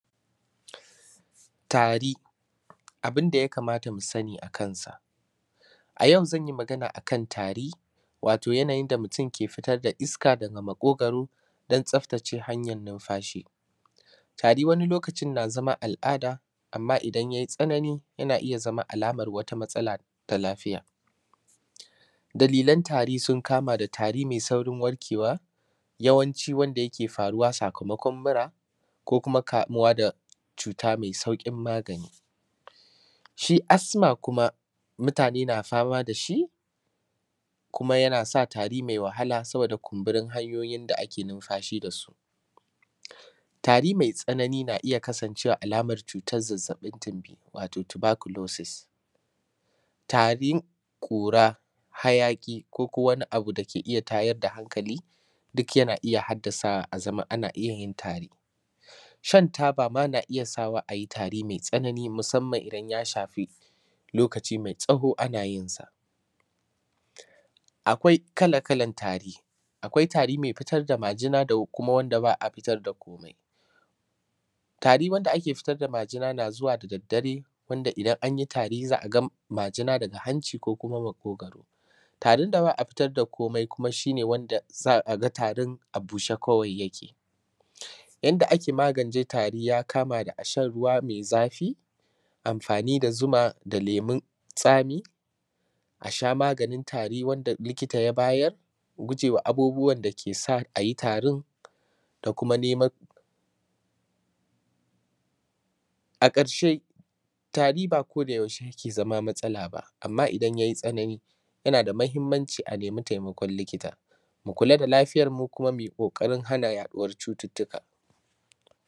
Tari, abin da ya kamata mu sani a kan sa, a yau zan yi magana a kan tari, wato yanayin da mutum ke fitar da iska daga maƙogoro dan tsaftace hanyan nimfashi. Tari wani lokacin na zama al’ada, amma idan yai tsanani, yana iya zama alamar wata matsala ta lafiya. Dalilan tari sun kama da tari me saurin warkewa, yawanci wanda yake faruwa sakamakon mura, ko kuma kamuwa da cuta me sauƙin magani. Shi asma kuma, mutane na fama da shi, kuma yana sa tari me wahala, saboda kumburin hanyoyin da ake numfashi da su. Tari mai tsanani na iya kasancewa alamar cutar zazzaƃin timbi wato, “tuberculosis”. Tarin ƙura, hayaƙi ko ko wani abu da ke iya tayar da hankali, duk yana iya haddasawa a zama ana iya yin tari Shan taba ma na iya sawa a yi tari me tsanani musamman idan ya shafi lokaci me tsawo ana yin sa. Akwai kalakalan tari, akwai tari me fitar da majina da kuma wanda ba a fitar da komai. Tari wanda ake fitar da majina na zuwa da daddare, wanda idan an yi tari za a ga majina daga hanci ko kuma maƙogoro. Tarin da ba a fitar da komai kuma shi ne wanda za a ga tarin a bushe kawai yake. Yanda ake magance tari ya kama da a shan ruwa me zafi, amfani da zuma da lemin tsami, a sha maganin tari wanda likita ya bayar, guje wa abubuwan da ke sa a yi tarin, da kuma neman; a ƙarshe, tari ba kodayaushe yake zama matsala ba, amma idan yai tsanani, yana da mahimmanci a nemi temakon likita, mu kula da lafiyarmu kuma mui ƙoƙarin hana yaɗuwar cututtuka.